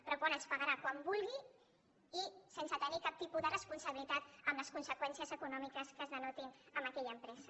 però quan ens pagarà quan vulgui i sense tenir cap tipus de responsabilitat en les conseqüències econòmiques que es denotin en aquella empresa